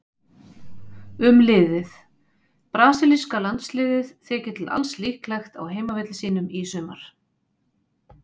Um liðið: Brasilíska landsliðið þykir til alls líklegt á heimavelli sínum í sumar.